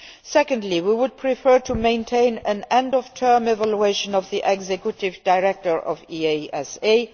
Secondly, we would prefer to maintain an end of term evaluation of the Executive Director of EASA.